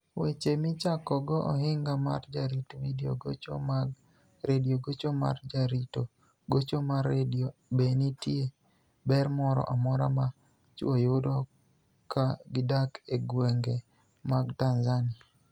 Weche Michakogo Ohiniga mar Jarito Vidio Gocho mag Redio Gocho mar Jarito Gocho mar Redio Be niitie ber moro amora ma chwo yudo ka gidak e gwenige mag Tanizaniia?